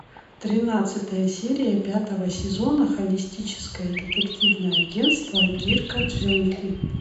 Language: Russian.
тринадцатая серия пятого сезона холистическое детективное агентство дирка джентли